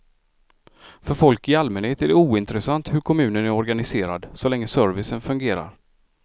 För folk i allmänhet är det ointressant hur kommunen är organiserad, så länge servicen fungerar.